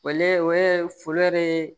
O le o ye foli yɛrɛ ye